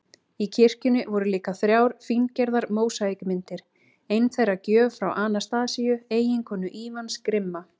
Í kirkjunni voru líka þrjár fíngerðar mósaíkmyndir, ein þeirra gjöf frá Anastasíu, eiginkonu Ívans grimma